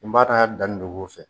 N b'a dɔn a danni dogo fɛ